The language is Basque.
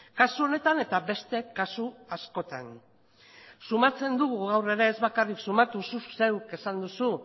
kasu honetan eta beste kasu askotan sumatzen dugu gaur ere ez bakarrik sumatu zuk zeuk esan duzu